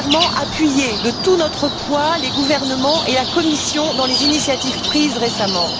Premièrement, appuyer de tout notre poids les gouvernements et la Commission dans les initiatives prises récemment.